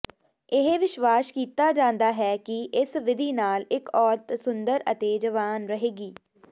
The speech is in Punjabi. ਇਹ ਵਿਸ਼ਵਾਸ ਕੀਤਾ ਜਾਂਦਾ ਹੈ ਕਿ ਇਸ ਵਿਧੀ ਨਾਲ ਇੱਕ ਔਰਤ ਸੁੰਦਰ ਅਤੇ ਜਵਾਨੀ ਰਹੇਗੀ